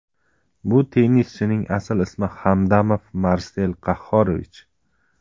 Bu tennischining asl ismi Hamdamov Marsel Qahhorovich.